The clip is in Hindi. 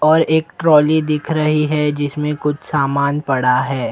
और एक ट्रॉली दिख रही है जिसमें कुछ सामान पड़ा है।